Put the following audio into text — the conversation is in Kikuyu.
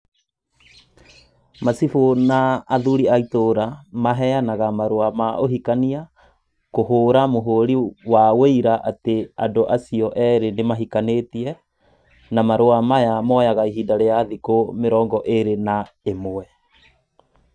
Macibũ na athuri a itũra maheanaga marũa ma ũhikania, kũhũra mũhũri wa ũira atĩ andũ acio eerĩ nĩmahikanĩtie, na marũa maya moyaga ihinda rĩa thikũ mĩrongo ĩĩrĩ na ĩmwe.